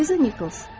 Liza Nikols.